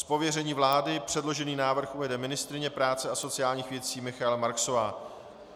Z pověření vlády předložený návrh uvede ministryně práce a sociálních věcí Michaela Marksová.